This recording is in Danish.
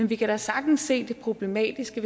vi kan da sagtens se det problematisk i